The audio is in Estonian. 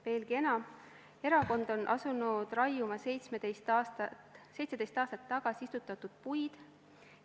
Veelgi enam, erakond on asunud raiuma 17 aastat tagasi istutatud puid.